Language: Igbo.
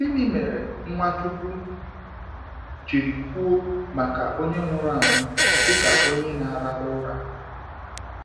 Gịnị mere Nwachukwu jiri kwuo maka onye nwụrụ anwụ dịka onye na ararụra?